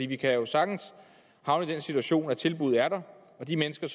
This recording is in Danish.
vi kan jo sagtens havne i den situation at tilbuddet er der men de mennesker